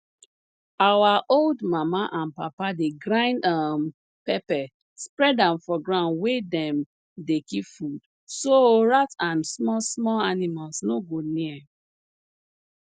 our old mama and papa dey grind um pepper spread am for ground wey dem dey keep food so rat and smallsmall animals no go near